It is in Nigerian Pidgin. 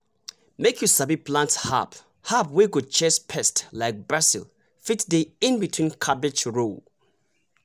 make you sabi plant herb herb wey go chase pest like basil fit dey in between cabbage row.